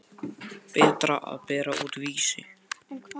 Berta að bera út Vísi.